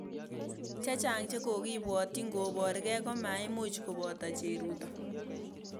Chechang chekokibwotchin koborgei komaimuch koboto cheruto